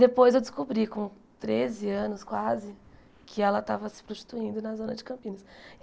Depois eu descobri, com treze anos quase, que ela estava se prostituindo na Zona de Campinas.